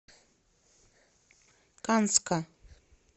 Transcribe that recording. канска